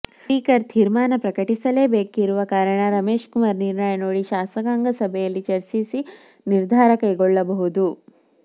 speaker ತೀರ್ಮಾನ ಪ್ರಕಟಿಸಲೇಬೇಕಿರುವ ಕಾರಣ ರಮೇಶ್ ಕುಮಾರ್ ನಿರ್ಣಯ ನೋಡಿ ಶಾಸಕಾಂಗ ಸಭೆಯಲ್ಲಿ ಚರ್ಚಿಸಿ ನಿರ್ಧಾರ ಕೈಗೊಳ್ಳಬಹುದು